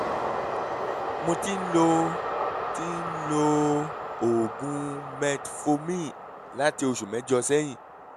mo ti ń lo ti ń lo oògùn metformin láti oṣù mẹ́jọ sẹ́yìn